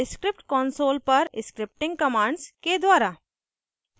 * script console पर scripting commands के द्वारा